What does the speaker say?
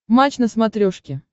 матч на смотрешке